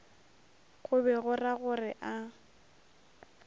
go be go ragore a